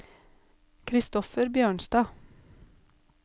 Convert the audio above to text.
Christoffer Bjørnstad